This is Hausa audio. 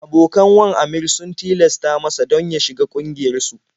Abokan wan Aminr sun tilasta masa don ya shiga ƙungiyarsu.